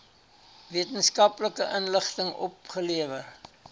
wetenskaplike inligting opgelewer